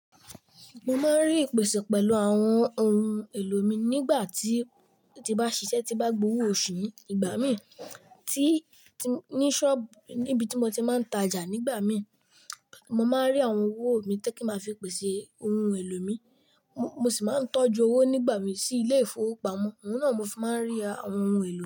Mo máa ń rí ìpèsè pẹ̀lú àwọn ohun èlò mi nígbà tí, ti mbá ṣiṣẹ́ tí bá gbówó òṣù mi ìgbà mí tí ní ṣọ́ọ̀bù níbi tí mo ti máa ń tajà nígbà mí, mo máa rí àwọn owó mi tó kí n máa fi pèsè ohun èlò mi, mo sì máa ń tọ́jú owó nígbà mí sí ilé ìfowópamọ́, òhún náà mo fi máa ń rí àwọn ohun èlò mi.